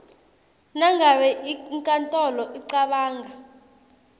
nangabe inkantolo icabanga